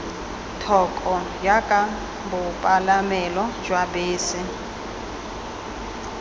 thoko jaaka bopalamelo jwa bese